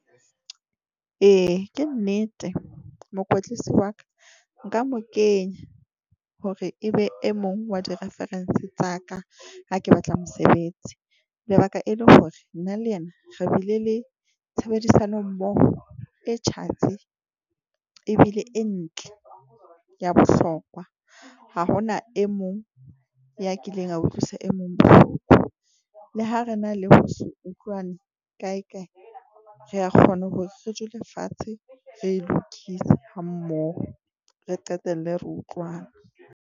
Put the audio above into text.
Ee ke nnete, mokwetlisi wa ka nka mo kenya hore, e be e mong wa di reference tsa ka. Ha ke batla mosebetsi lebaka e le hore na le yena re bile le tshebedisano mmoho e tjhatsi ebile e ntle ya bohlokwa. Ha hona e mong ya kileng a utlwisa e mong bohloko. Le ha re na le ho se utlwane kae kae, re a kgona hore re dule fatshe, re e lokise ha mmoho, re qetelle re utlwane.